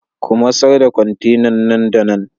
Ku masar da kwantenan nan da nan!